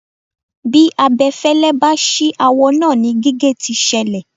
Bí abẹfẹ́lẹ́ bá ṣì awọ náà ni gígé tí ṣẹlẹ̀.